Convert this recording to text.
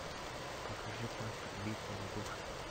покажи пастырь битва за души